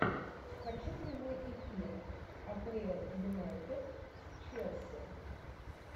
хочу прямой эфир апл юнайтед с челси